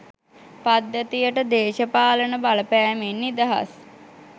පද්ධතියට දේශපාලන බලපෑමෙන් නිදහස්.